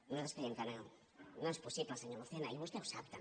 nosaltres creiem que no no és possible senyor lucena i vostè ho sap també